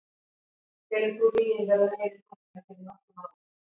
Telur þú ríginn vera meiri nú en fyrir nokkrum árum?